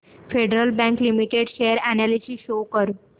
federal bank limited share analysis show कर